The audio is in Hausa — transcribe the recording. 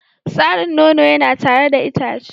Tsarin nono yana tare da itace.